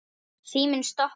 Síminn stoppar ekki.